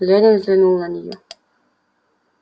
лэннинг взглянул на неё